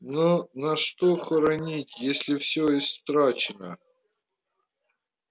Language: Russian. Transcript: но на что хоронить если всё истрачено